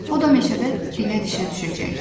O da meşədə dilə-dişə düşəcəkdi.